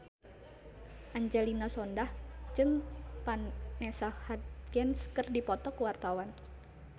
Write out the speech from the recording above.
Angelina Sondakh jeung Vanessa Hudgens keur dipoto ku wartawan